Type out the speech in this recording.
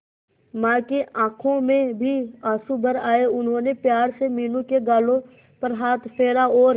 मां की आंखों में भी आंसू भर आए उन्होंने प्यार से मीनू के गालों पर हाथ फेरा और